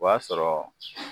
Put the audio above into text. O y'a sɔrɔ